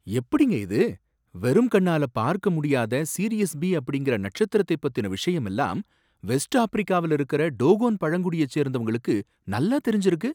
எப்படிங்க இது! வெறும் கண்ணால பார்க்க முடியாத சிரியஸ் பி அப்படிங்கற நட்சத்திரத்தைப் பத்தின விஷயம் எல்லாம் வெஸ்ட் ஆப்பிரிக்காவுல இருக்குற டோகோன் பழங்குடிய சேர்ந்தவங்களுக்கு நல்லா தெரிஞ்சுருக்கு?